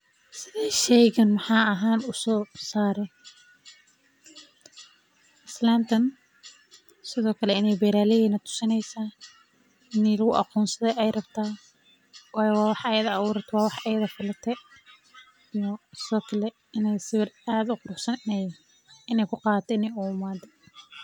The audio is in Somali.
Sidee shaygaan maxalli ahaaan u soo saaray, islantan Sidhokale inay beraley natusinaysa, ini laguagonsado ay rabta, wayo wa wax ayada awuratee, wa wax ayada falatee, sidhokale inu sawir aad u quruxsan inay kuqadato ayay uimate.